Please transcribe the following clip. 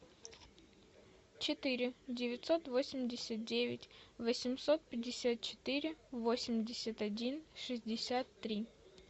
четыре девятьсот восемьдесят девять восемьсот пятьдесят четыре восемьдесят один шестьдесят три